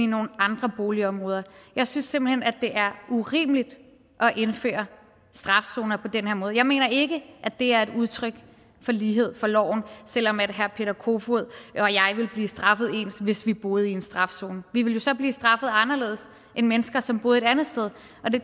i nogle andre boligområder jeg synes simpelt hen at det er urimeligt at indføre strafzoner på den her måde jeg mener ikke at det er et udtryk for lighed for loven selv om herre peter kofod og jeg ville blive straffet ens hvis vi boede i en strafzone vi ville jo så blive straffet anderledes end mennesker som boede et andet sted og det